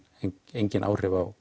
engin áhrif á